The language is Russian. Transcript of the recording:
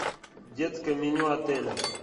детское меню отеля